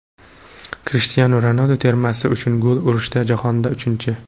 Krishtianu Ronaldu termasi uchun gol urishda jahonda uchinchi.